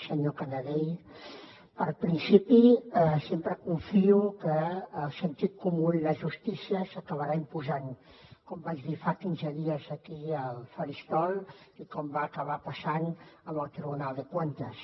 senyor canadell per principi sempre confio que el sentit comú i la justícia s’acabaran imposant com vaig dir fa quinze dies aquí al faristol i com va acabar passant en el tribunal de cuentas